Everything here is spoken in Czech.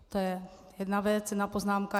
To je jedna věc, jedna poznámka.